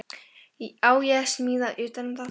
Á ég að smíða utan um það?